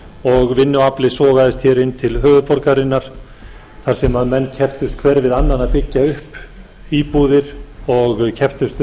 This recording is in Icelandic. og vinnuaflið sogaðist inn til höfuðborgarinnar þar sem enn kepptust hver við annan um að byggja upp íbúðir og kepptust